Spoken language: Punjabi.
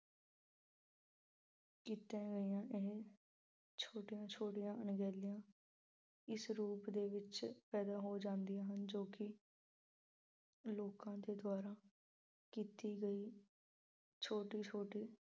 ਕੀਤੀਆਂ ਗਈਆਂ ਅਮ ਛੋਟੀਆਂ ਛੋਟੀਆਂ ਅਣਗਹਿਲੀਆਂ ਇਸ ਰੂਪ ਦੇ ਵਿੱਚ ਪੈਦਾ ਹੋ ਜਾਂਦੀਆਂ ਹਨ ਜੋ ਕਿ ਲੋਕਾਂ ਦੇ ਦੁਆਰਾ ਕੀਤੀ ਗਈ ਛੋਟੀ-ਛੋਟੀ